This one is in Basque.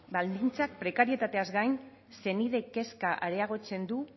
baldintzak prekarietateaz gain senideen kezka areagotzen du